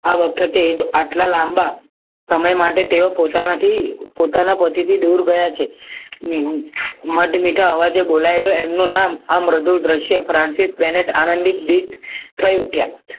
આ વખતે જ આટલા લાંબા સમય માટે તેઓ પોતાનાથી પોતાના પતિથી દૂર ગયા છે મધ મીઠા અવાજે બોલાયેલું એમનું નામ આ મૃદુ દ્રશ્ય થયું કે